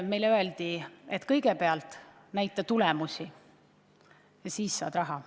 Meile öeldi, et kõigepealt näita tulemusi, ja siis saad raha.